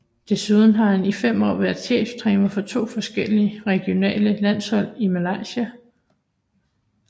Desuden har han i 5 år været cheftræner for 2 forskellige regionale landshold i Malaysia